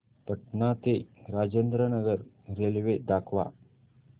पटणा ते राजेंद्र नगर रेल्वे दाखवा